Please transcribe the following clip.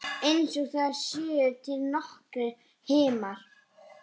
Og einsog það séu til nokkrir himnar.